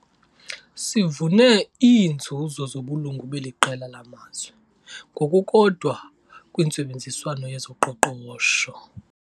Sivune iinzuzo zobulungu beli qela lamazwe, ngokukodwa kwintsebenziswano yezoqoqosho.